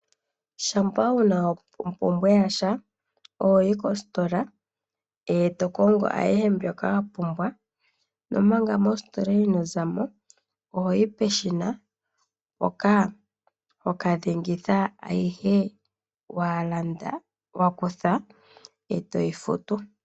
Shampa wuna ompumbwe yasha oho yi mositola e to kongo ayihe mbyoka wa pumbwa nomanga mositola inoo zamo, oho yi peshina mpoka ho ka dhengitha ayihe wa landa ,wa kutha e to yi futu.